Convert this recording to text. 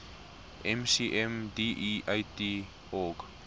mcm deat org